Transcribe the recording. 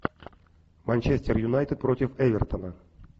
манчестер юнайтед против эвертона